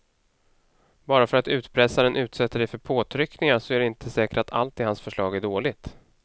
Bara för att utpressaren utsätter dig för påtryckningar så är det inte säkert att allt i hans förslag är dåligt.